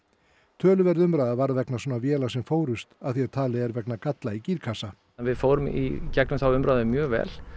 töluverð umræða varð vegna svona véla sem fórust að því að talið er vegna galla í gírkassa við fórum í gegnum þá umræðu mjög vel